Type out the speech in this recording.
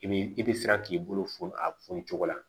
I bi i bi siran k'i bolo funu a fɔn ni cogo la